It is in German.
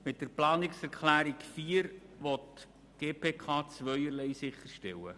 Mit der Planungserklärung 4 will die GPK zweierlei sicherstellen: